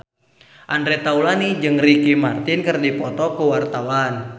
Andre Taulany jeung Ricky Martin keur dipoto ku wartawan